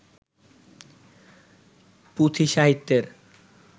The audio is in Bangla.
পুঁথি সাহিত্যের